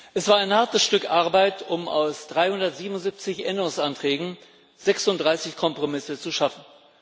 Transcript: Es war ein hartes Stück Arbeit, um aus 377 Änderungsanträgen 36 Kompromisse zu schaffen.